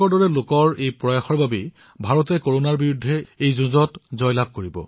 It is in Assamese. আপোনালোকৰ দৰে লোকৰ প্ৰয়াসৰ ফলত ভাৰতে কৰনাৰ বিৰুদ্ধে নিশ্চয় জয়ী হব